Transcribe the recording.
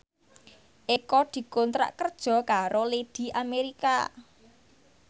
Eko dikontrak kerja karo Lady America